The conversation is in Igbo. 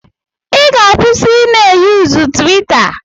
Ị ga-akwụsị i na-eyuzu twitter.